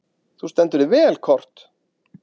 Þú stendur þig vel, Kort (mannsnafn)!